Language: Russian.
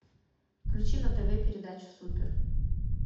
включи на тв передачу супер